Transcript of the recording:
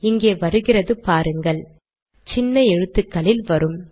இங்கே வருகிறது பாருங்கள் சின்ன எழுத்துக்களில் வரும்